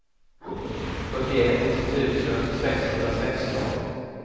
fyrtioett tusen sexhundrasexton